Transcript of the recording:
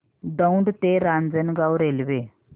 दौंड ते रांजणगाव रेल्वे